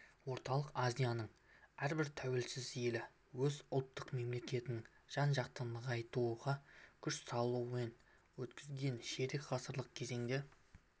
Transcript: орталық азияның әрбір тәуелсіз елі өз ұлттық мемлекетін жан-жақты нығайтуға күш салумен өткізген ширек ғасырлық кезеңде